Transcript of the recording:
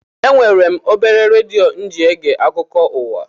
Enwere m obere redio mụ ji ege akụkọ ụwa